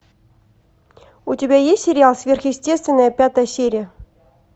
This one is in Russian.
у тебя есть сериал сверхъестественное пятая серия